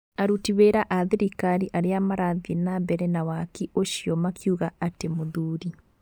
Aruti wĩra a thirikari arĩa marathĩe na mbere na waki ũcio makiuga atĩ mũthuri